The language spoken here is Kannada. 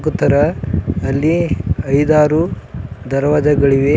ಇದರ ಅಲ್ಲಿ ಐದಾರು ದರ್ವಾಜ ಗಳಿವೆ.